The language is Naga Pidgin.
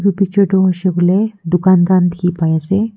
pichor te hoise koile dukan khan dikhi pai ase.